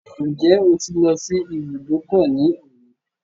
Ǹjẹ́ o ti lọ sí ibùdókọ̀ ní òní?